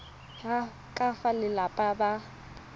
ya ka fa balelapa ba